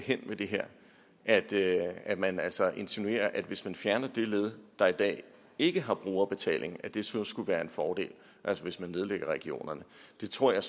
hen med det her at at man altså insinuerer at hvis man fjerner det led der i dag ikke har brugerbetaling så skulle det være en fordel altså hvis man nedlægger regionerne det tror jeg